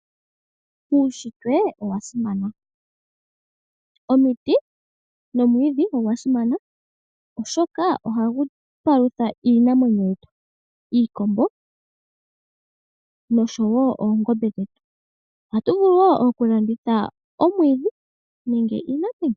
Uushitwe owasimana, omiti nomwiidhi ogwasimana, oshoka ohagu palutha iinamwenyo yetu, iikombo noshowo oongombe dhetu. Ohatu vulu wo okulanditha omwiidhi nenge iinamwenyo.